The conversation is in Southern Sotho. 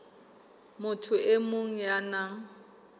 motho e mong ya nang